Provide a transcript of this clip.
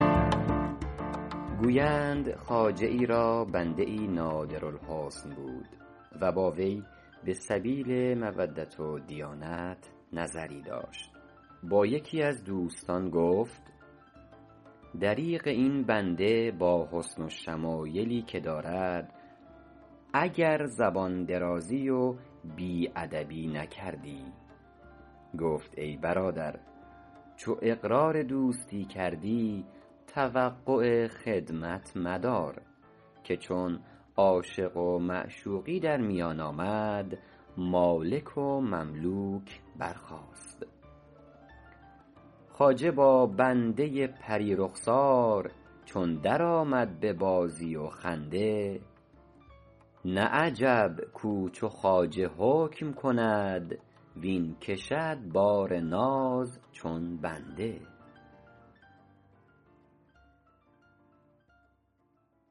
گویند خواجه ای را بنده ای نادر الحسن بود و با وی به سبیل مودت و دیانت نظری داشت با یکی از دوستان گفت دریغ این بنده با حسن و شمایلی که دارد اگر زبان درازی و بی ادبی نکردی گفت ای برادر چو اقرار دوستی کردی توقع خدمت مدار که چون عاشق و معشوقی در میان آمد مالک و مملوک برخاست خواجه با بنده پری رخسار چون در آمد به بازی و خنده نه عجب کاو چو خواجه حکم کند واین کشد بار ناز چون بنده